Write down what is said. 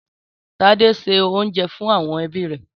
Tádé se oúnjẹ fún àwọn ẹbí rẹ̀?